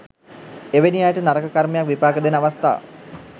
එවැනි අයට නරක කර්මයක් විපාක දෙන අවස්ථා